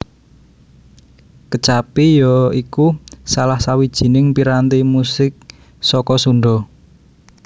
Kecapi ya iku salah sawijining piranti musik saka Sunda